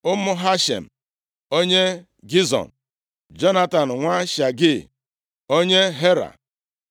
Ụmụ Hashem onye Gizon, Jonatan nwa Shagee, onye Hara,